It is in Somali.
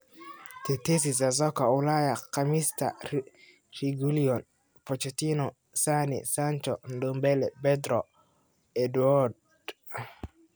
Tetesi za Soka Ulaya Khamiista : Reguilon, Pochettino, Sane, Sancho, Ndombele, Pedro, Edouard